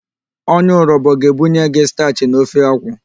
Onye Urobo ga-ebunye gị stachị na ofe akwu.